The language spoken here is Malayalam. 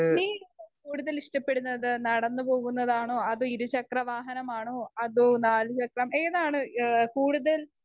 സ്പീക്കർ 1 നീ കൂടുതൽ ഇഷ്ടപ്പെടുന്നത് നടന്നു പോകുന്നതാണോ അതോ ഇരുചക്ര വാഹനം ആണോ അതോ നാലുചക്രം ഏതാണ് ഏഹ് കൂടുതൽ